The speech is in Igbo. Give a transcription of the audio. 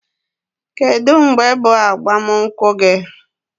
Kedụ mgbe bụ agbam nkwụ gi?